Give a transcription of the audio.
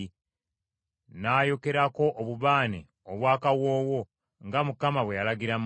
n’ayokerako obubaane obwa kawoowo, nga Mukama bwe yalagira Musa.